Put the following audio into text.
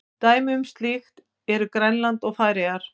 Dæmi um slíkt eru Grænland og Færeyjar.